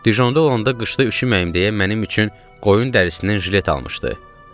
Dijonda olanda qışda üşüməyim deyə mənim üçün qoyun dərisindən jilet almışdı.